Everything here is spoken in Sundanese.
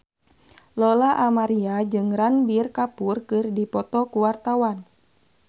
Lola Amaria jeung Ranbir Kapoor keur dipoto ku wartawan